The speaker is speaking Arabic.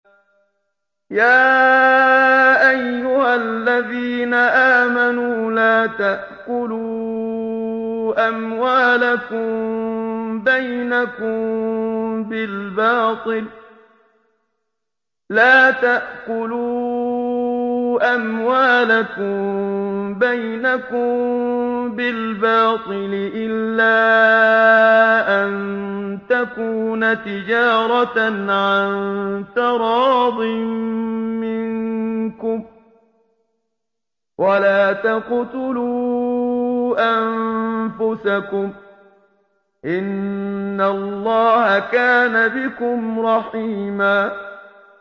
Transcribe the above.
يَا أَيُّهَا الَّذِينَ آمَنُوا لَا تَأْكُلُوا أَمْوَالَكُم بَيْنَكُم بِالْبَاطِلِ إِلَّا أَن تَكُونَ تِجَارَةً عَن تَرَاضٍ مِّنكُمْ ۚ وَلَا تَقْتُلُوا أَنفُسَكُمْ ۚ إِنَّ اللَّهَ كَانَ بِكُمْ رَحِيمًا